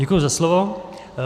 Děkuji za slovo.